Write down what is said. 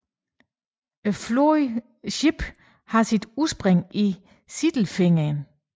Floden Schwippe har sit udspring i Sindelfingen